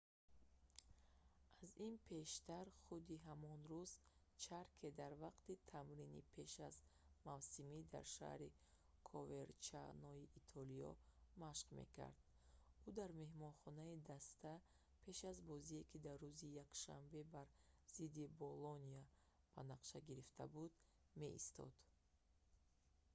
аз ин пештар худи ҳамон рӯз ҷарке дар вақти тамрини пеш аз мавсимӣ дар шаҳри коверчанои итолиё машқ мекард ӯ дар меҳмонхонаи даста пеш аз бозие ки дар рӯзи якшанбе бар зидди болония ба нақша гирифта буд меистод